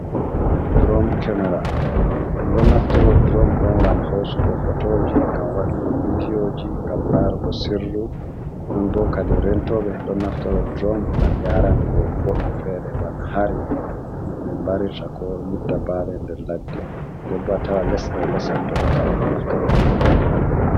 Dron kemera be don naftoro dron do gam hosugo hotoji gam wadugo vidiyoji gam larugo sirru non bo kadi rentobe don naftoro dron gam yarango wobbe fere bana hari no be mbarirta ko nyidda bale der ladde ko debbowa tawa lese lesefuto do habaru naftoro drom ngam yarugo haa.